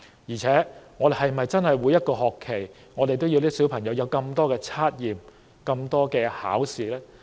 況且，我們是否真的要孩子每個學期都接受這麼多測驗和考試？